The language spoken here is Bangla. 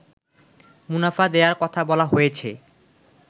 মুনাফা দেয়ার কথা বলা হয়েছে